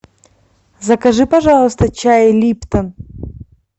закажи пожалуйста чай липтон